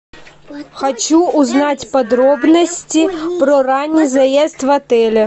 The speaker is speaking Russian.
хочу узнать подробности про ранний заезд в отеле